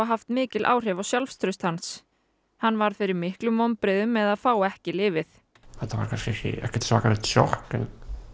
haft mikil áhrif á sjálfstraust hans hann varð fyrir miklum vonbrigðum með að fá ekki lyfið þetta var ekki svakalegt sjokk en